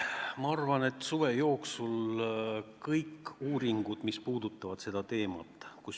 Ma arvan, et suve jooksul on vaja välja otsida kõik uuringud, mis puudutavad seda teemat.